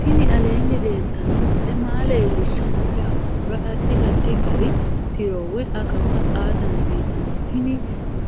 tini aleenni leeltanno misile maa leellishshanno yaannohura addi addi gari tiro woy akata aa dandiinanni tini